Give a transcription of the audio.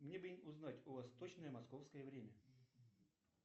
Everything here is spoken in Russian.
мне бы узнать у вас точное московское время